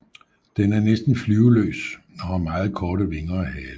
Den er næsten flyveløs og har meget korte vinger og hale